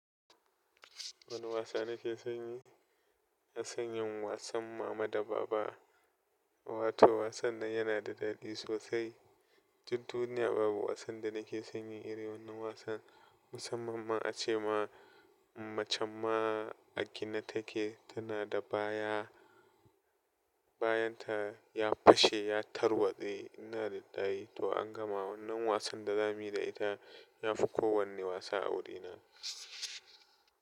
Wane wasa nake son yi? Ina sanyin wasan Mama da Baba. Wato wasan nan yana da daɗi sosai. Duk duniya babu wasan da nake sanyi iri wannan wasan musamman ma a ce ma, macen ma a gina take tana da baya, bayanta ya fashe ya tarwatse innalillahi to an gama wannan wasan da zamu yi da ita yafi kowane wasa a wurina.